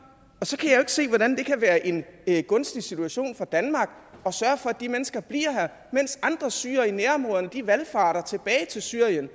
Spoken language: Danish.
og så kan ikke se hvordan det kan være en gunstig situation for danmark at sørge for at de mennesker bliver her mens andre syrere i nærområderne valfarter tilbage til syrien